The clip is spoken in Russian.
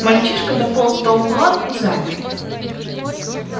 мальчишка дополз до угла и замер